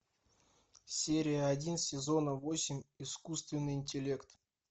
серия один сезона восемь искусственный интеллект